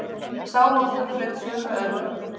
Sá hópur hlaut sömu örlög.